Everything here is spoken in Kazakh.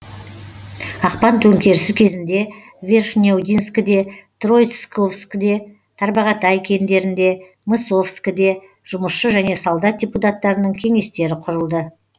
ақпан төңкерісі кезінде верхнеудинскіде троицковскіде тарбағатай кеңдерінде мысовкіде жұмысшы және солдат депуттарының кеңестері құрылды